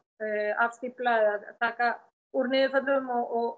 afstífla eða taka úr niðurföllum og